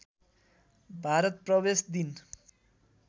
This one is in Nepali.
भारत प्रवेश दिन